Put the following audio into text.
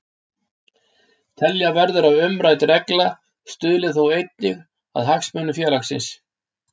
Telja verður að umrædd regla stuðli þó einnig að hagsmunum félagsins.